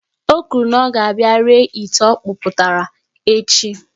O kwuru na ọ ga-abia ree ite ọkpụtara echi